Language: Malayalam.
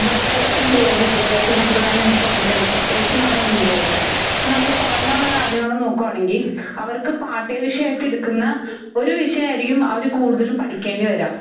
ഇവിടുത്തേ എഹ് വിദ്യാഭാസസമ്പ്രദായം എന്ന് എനിക്ക് തോന്നീട്ടുണ്ട്. പ്രെത്യേകിച്ച് നമ്മുടെ ഇന്ത്യലത്തെ. ഇപ്പ നമ്മള് പുറമേയുള്ള രാജ്യങ്ങൾ നോക്കുവാണെങ്കി അവർക്ക് പാട്ടിക വിഷയമായിട്ട് എടുക്കുന്ന ഒരു വിഷയായിരിക്കും അവര് കൂടുതലും പഠിക്കേണ്ടി വരുക.